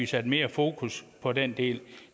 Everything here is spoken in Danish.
sat mere fokus på den del